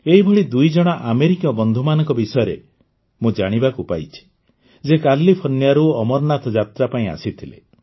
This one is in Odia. ଏହିଭଳି ଦୁଇଜଣ ଆମେରିକୀୟ ବନ୍ଧୁମାନଙ୍କ ବିଷୟରେ ମୁଁ ଜାଣିବାକୁ ପାଇଛି ଯିଏ କାଲିଫର୍ଣ୍ଣିଆରୁ ଅମରନାଥ ଯାତ୍ରା ପାଇଁ ଆସିଥିଲେ